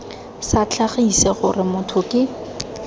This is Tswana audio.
sa tlhagise gore motho ke